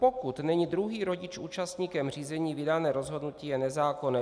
Pokud není druhý rodič účastníkem řízení, vydané rozhodnutí je nezákonné.